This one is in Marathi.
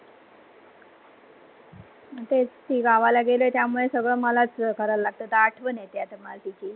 तेच ती गावाला गेले त्यामुळे सगळ मलाच करव लागते आतां आठवन येती मला तिची.